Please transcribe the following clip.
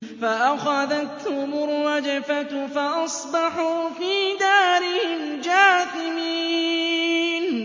فَأَخَذَتْهُمُ الرَّجْفَةُ فَأَصْبَحُوا فِي دَارِهِمْ جَاثِمِينَ